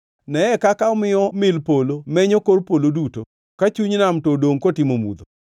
Neye kaka omiyo mil polo menyo kor polo duto, ka chuny nam to dongʼ kotimo mudho.